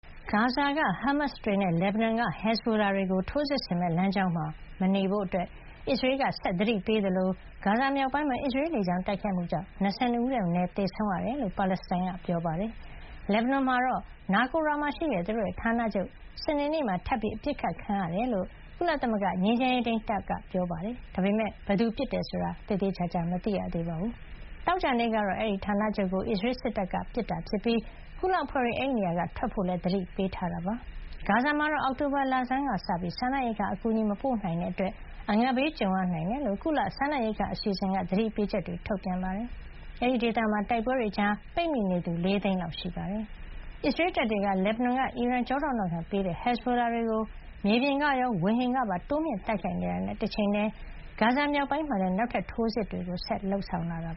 ဂါဇာက ဟားမတ်စ်တွေနဲ့ လက်ဘနွန်က ဟက်ဇ်ဘိုလာတွေကို ထိုးစစ်ဆင်မယ့် လမ်းကြောင်းမှာ မနေကြဖို့ ဂါဇာနဲ့ လက်ဘနွန်တောင်ပိုင်း ဒေသခံတွေကို အစ္စရေးက သတိ ဆက်ပေးနေသလို၊ ဂါဇာမြောက်ပိုင်းမှာ နာရီပေါင်းများစွာ အစ္စရေးလေကြောင်း တိုက်ခိုက်မှုကြောင့် ၂၂ ဦးထက်မနည်း သေဆုံးခဲ့ရတယ်လို့ ပါလက်စတိုင်းတွေက ပြောပါတယ်။ လက်ဘနွန်မှာတော့ နာကိုရာ Naqoura ဒေသမှာရှိတဲ့ သူတို့ရဲ့ ဌာနချုပ် စနေနေ့မှာ ထပ်ပြီး အပစ်ခတ်ခံခဲ့ရကြောင်း ကုလသမဂ္ဂ ငြိမ်းချမ်းရေးထိန်းတပ်ဖွဲ့က ပြောပါတယ်။ ဒါပေမဲ့ ဘယ်သူ ပစ်ခတ်တယ် ဆိုတာတော့ သေသေချာချာ မသိရသေးပါဘူး။ သောကြာနေ့ကတော့ အဲဒီဌာနချုပ်ကို အစ္စရေးစစ်တပ်က ပစ်ခတ်ခဲ့တာဖြစ်ပြီး ကုလအဖွဲ့တွေ အဲဒီ နေရာက ထွက်ခွါဖို့လည်း သတိပေးထားတာပါ။ ဂါဇာမှာတော့ အောက်တိုဘာ လဆန်းကစပြီး စားနပ်ရိက္ခာအကူအညီ မပို့နိုင်တာကြောင့် အငတ်ဘေးကြုံရ နိုင်ကြောင်း WFP ကုလ စားနပ်ရိက္ခာအစီအစဉ်က သတိပေးချက်တွေ ထုတ်ပြန်ထားပါတယ်။ အဲဒီဒေသမှာ တိုက်ပွဲတွေကြား ပိတ်မိနေသူက ၄ သိန်းလောက် ရှိနေတာပါ။ အစ္စရေးတပ်တွေက လက်ဘနွန်က အီရန်က ထောက်ခံမှုပေးထားတဲ့ ဟက်ဇ်ဘိုလာတွေကို မြေပြင်ကရော ဝေဟင်ကပါ တိုးမြှင့်တိုက်ခိုက်နေတာနဲ့ တချိန်ထဲမှာပဲ ဂါဇာ မြောက်ပိုင်းမှာလည်း နောက်ထပ် ထိုးစစ်တွေ လုပ်ဆောင်လာတာ